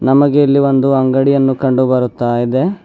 ನಮಗೆ ಇಲ್ಲಿ ಒಂದು ಅಂಗಡಿಯನ್ನು ಕಂಡು ಬರುತ್ತ ಇದೆ.